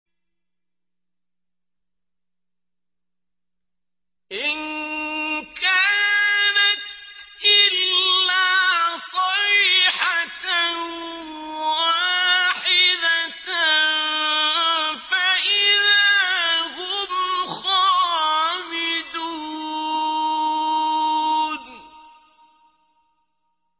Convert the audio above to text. إِن كَانَتْ إِلَّا صَيْحَةً وَاحِدَةً فَإِذَا هُمْ خَامِدُونَ